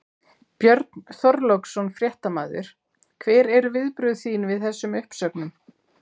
Björn Þorláksson, fréttamaður: Hver eru viðbrögð þín við þessum uppsögnum?